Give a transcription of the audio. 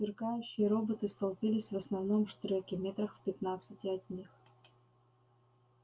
сверкающие роботы столпились в основном штреке метрах в пятнадцати от них